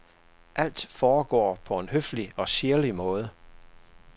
Alt foregår på en høflig og sirlig måde.